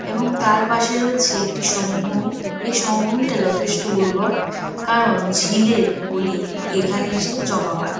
এবং তার পাশে রয়েছে একটি সমভূমি এই সমভূমিটা যথেষ্ট উর্বর। কারণ ঝিল এর পলি এখানে এসে জমা হয়।